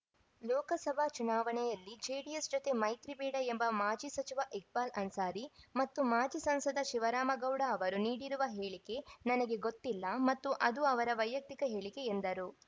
ಲೋಕಸಭಾ ಚುನಾವಣೆಯಲ್ಲಿ ಜೆಡಿಎಸ್‌ ಜೊತೆ ಮೈತ್ರಿ ಬೇಡ ಎಂಬ ಮಾಜಿ ಸಚಿವ ಇಕ್ಬಾಲ್‌ ಅನ್ಸಾರಿ ಮತ್ತು ಮಾಜಿ ಸಂಸದ ಶಿವರಾಮಗೌಡ ಅವರು ನೀಡಿರುವ ಹೇಳಿಕೆ ನನಗೆ ಗೊತ್ತಿಲ್ಲ ಮತ್ತು ಅದು ಅವರ ವೈಯಕ್ತಿಕ ಹೇಳಿಕೆ ಎಂದರು